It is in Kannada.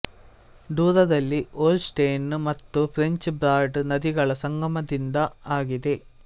ದೂರದಲ್ಲಿ ಹೋಲ್ ಸ್ಟೆನ್ ಮತ್ತು ಫ್ರೆಂಚ್ ಬ್ರಾಡ್ ನದಿಗಳ ಸಂಗಮದಿಂದ ಆಗಿದೆ